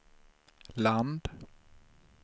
land